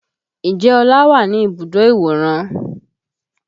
Ǹjẹ́ ọlá wà ní ibùdó ìwòran?